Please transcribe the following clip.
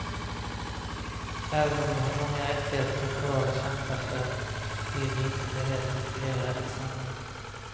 Även om de har många rättigheter kvar att kämpa för vill de inte bli helt integrerade i samhället.